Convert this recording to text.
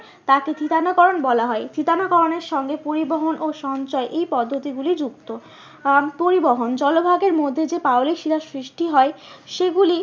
তাকে থিতানো করন বলা হয়। থিতানো করণের সঙ্গে পরিবহন ও সঞ্চয় এই পদ্ধতিগুলি যুক্ত। আহ পরিবহন জলভাগের মধ্যে যে পাললিক শিলার সৃষ্টি হয় সেগুলি